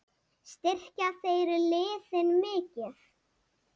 Styrkja þeir liðin mikið?